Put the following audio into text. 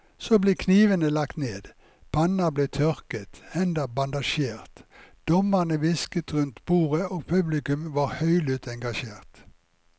Så ble knivene lagt ned, panner ble tørket, hender bandasjert, dommerne hvisket rundt bordet og publikum var høylytt engasjert.